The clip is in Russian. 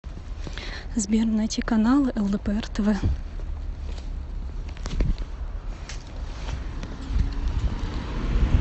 сбер найти каналы лдпр тв